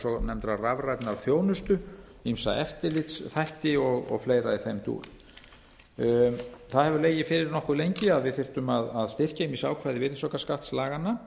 svonefndrar rafrænnar þjónustu ýmsa eftirlitsþætti og fleira í þeim dúr það hefur legið fyrir nokkuð lengi að við þyrftum að styrkja ýmis ákvæði virðisaukaskattslaganna